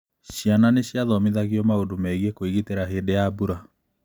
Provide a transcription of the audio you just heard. Ciana nĩ ciathomithagio maũndũ megiĩ kwĩgitĩra hĩndĩ ya mbura.